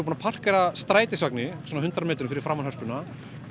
búin að parkera strætisvagni svona hundrað metrum fyrir framan Hörpuna